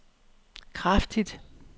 kraftigt